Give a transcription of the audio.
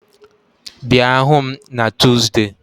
Bịa hụ m na Tuzdee